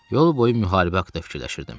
Yolboyu müharibə haqda fikirləşirdim.